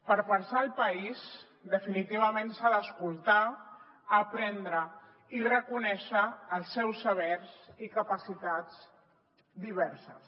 per pensar el país definitivament s’ha d’escoltar aprendre i reconèixer els seus sabers i capacitats diverses